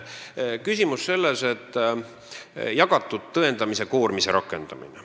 Küsimus on jagatud tõendamiskoormise rakendamises.